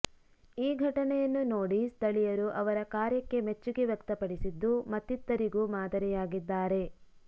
ಈ ಘಟನೆಯನ್ನು ನೋಡಿ ಸ್ಥಳೀಯರು ಅವರ ಕಾರ್ಯಕ್ಕೆ ಮೆಚ್ಚುಗೆ ವ್ಯಕ್ತಪಡಿಸಿದ್ದು ಮತ್ತಿತ್ತರಿಗೂ ಮಾದರಿಯಾಗಿದ್ದಾರೆ